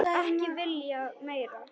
Ekki viljað meira.